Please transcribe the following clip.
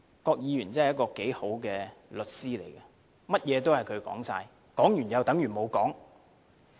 郭議員真的是一位好律師，甚麼都由他說，說了又等於沒說。